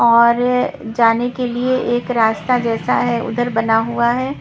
और अ जाने के लिए एक रास्ता जैसा है उधर बना हुआ है।